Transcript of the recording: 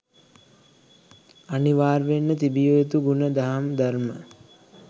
අනිවාර්යයෙන්ම තිබිය යුතු ගුණ දහම් ධර්ම